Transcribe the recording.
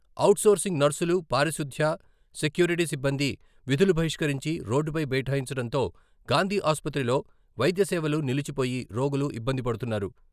Outsourcing నర్సులు, పారిశుద్ధ్య, security సిబ్బంది విధులు బహిష్కరించి రోడ్డుపై బైఠాయించడంతో గాంధీ ఆసుపత్రిలో వైద్య సేవలు నిలిచిపోయి రోగులు ఇబ్బంది పడుతున్నారు.